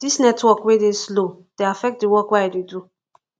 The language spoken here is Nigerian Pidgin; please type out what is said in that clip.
dis network wey dey slow dey affect di work wey i dey do